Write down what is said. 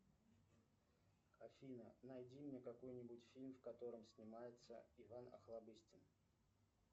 афина найди мне какой нибудь фильм в котором снимается иван охлобыстин